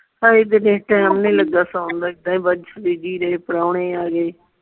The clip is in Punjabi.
ਅਸੀਂ ਤੇ ਸੌਣ ਦੋ ਏਦਾਂ ਹੀ ਬਸ busy ਰਹੇ ਪਰੌਹਣੇ ਆ ਗਏ।